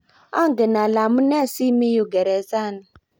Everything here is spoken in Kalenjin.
angen ale amunee si mii yu geresani